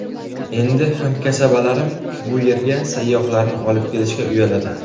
Endi hamkasabalarim bu yerga sayyohlarni olib kelishga uyaladi.